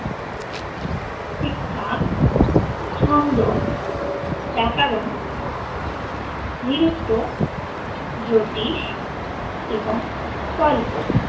শিক্ষা ছন্দ ব্যাকারণ নিরুক্ত জ্যোতিষ এবং কল্প